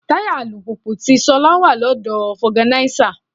Táyà alùpùpù ti Ṣolá wà lọ́dọ̀ foganisa.